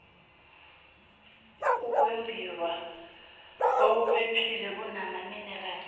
ukwembiwa okuphephile kwamaminerali